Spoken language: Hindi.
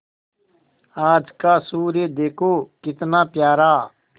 आज का सूर्य देखो कितना प्यारा